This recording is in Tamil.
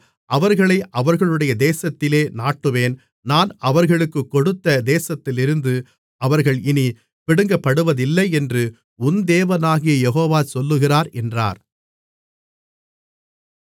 அவர்களை அவர்களுடைய தேசத்திலே நாட்டுவேன் நான் அவர்களுக்குக் கொடுத்த தேசத்திலிருந்து அவர்கள் இனிப் பிடுங்கப்படுவதில்லையென்று உன் தேவனாகிய யெகோவா சொல்லுகிறார் என்றார்